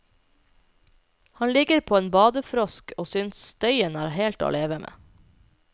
Han ligger på en badefrosk og synes støyen er helt til å leve med.